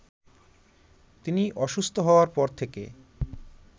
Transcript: তিনি অসুস্থ হওয়ার পর থেকে